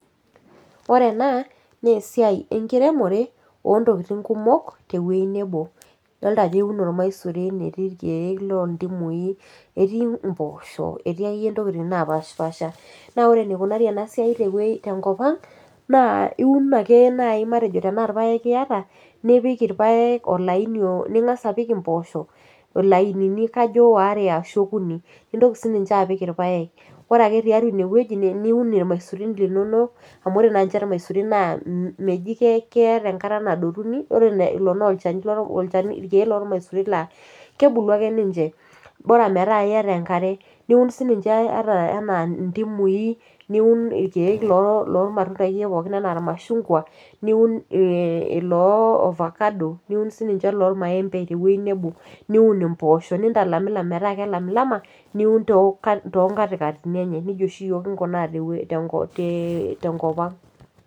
Ore ena nesiai enkiremore ontokiting kumok tewoi nebo, Idolta ajo euno ormaisuri, etii irkeek lontimui, etii mpoosho, etii akeyie ntokiting napashipasha. Na ore enikunari enasiai tewoi tenkop ang, naa iun ake nai matejo tenaa irpaek iata, nipik irpaek olaini ning'asa apik impoosho ilainini kajo waare ashu okuni. Nintoki sininche apik irpaek. Ore ake tiatua inewueji niun irmaisurin linonok, amu ore naanche irmaisurin naa meji keeta enkata nadotuni, ore lolo olchani irkeek lormaisurin la kebulu ake ninche. Bora metaa iyata enkare, niun sininche ata enaa ntimui, niun irkeek lormatunda akeyie pookin anaa irmashungwa, niun iloo ofakado, niun sininche iloo maembe tewei nebo. Niun impoosho, nitalamilam metaa kelamilama, niun tonkatikatini enye. Nejia oshi yiok kinkunaa tewoi tenkop ang'.